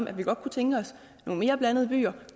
at vi godt kunne tænke os nogle mere blandede byer